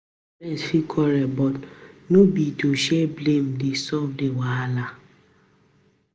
Friends fit quarrel but no be to share blame dey solve di wahala